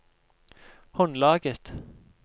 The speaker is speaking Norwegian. håndlaget